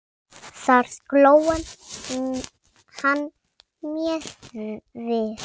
Þar sló hann mér við.